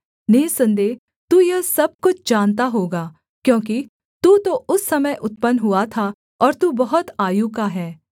निःसन्देह तू यह सब कुछ जानता होगा क्योंकि तू तो उस समय उत्पन्न हुआ था और तू बहुत आयु का है